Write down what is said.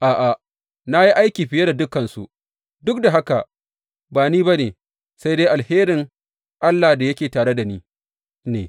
A’a, na yi aiki fiye da dukansu, duk da haka, ba ni ba ne, sai dai alherin Allah da yake tare da ni ne.